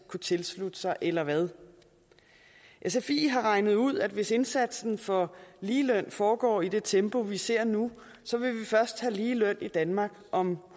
kunne tilslutte sig eller hvad sfi har regnet ud at hvis indsatsen for ligeløn foregår i det tempo vi ser nu så vil vi først have ligeløn i danmark om